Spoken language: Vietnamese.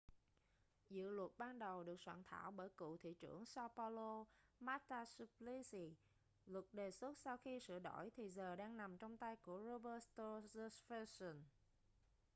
dự luật ban đầu được soạn thảo bởi cựu thị trưởng sao paolo marta suplicy luật đề xuất sau khi sửa đổi thì giờ đang nằm trong tay của roberto jefferson